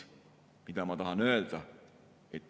Mida ma tahan öelda?